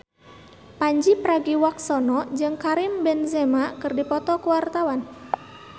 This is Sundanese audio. Pandji Pragiwaksono jeung Karim Benzema keur dipoto ku wartawan